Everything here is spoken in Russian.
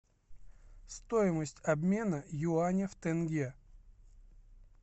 стоимость обмена юаня в тенге